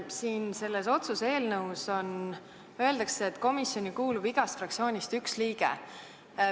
Siin selles otsuse eelnõus öeldakse, et komisjoni kuulub igast fraktsioonist üks liige.